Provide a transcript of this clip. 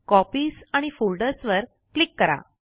copies आणि folders वर click करा